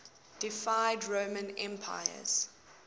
deified roman emperors